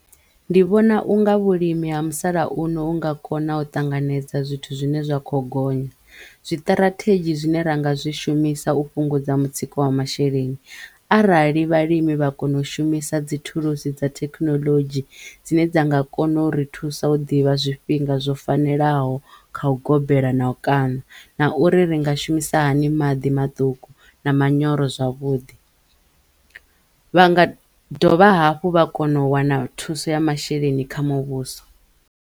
Ndi vhona unga vhulimi ha musalauno u nga kona u ṱanganedza zwithu zwi ne zwa kho gonya, zwiṱirathedzhi zwine ra nga zwi shumisa u fhungudza mutsiko wa masheleni arali vhalimi vha kona u shumisa dzi thulusi dza thekinoḽodzhi dzine dza nga kona uri thusa u ḓivha zwifhinga zwo fanelaho kha u gobela na u kaṋa na uri ri nga shumisa hani maḓi maṱuku na manyoro zwavhuḓi. Vha nga dovha hafhu vha kono wana thuso ya masheleni kha muvhuso.